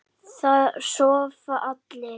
Það sofa allir.